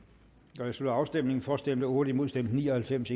jeg slutter afstemningen for stemte otte imod stemte ni og halvfems